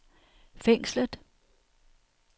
fængslet